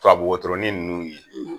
Tubabu wotoronrin nunnu ye